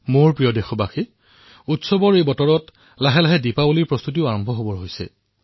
মোৰ মৰমৰ দেশবাসীসকল উৎসৱৰ বতৰ আৰু লগতে দিপাৱলীৰ প্ৰস্তুতিও আৰম্ভ হৈছে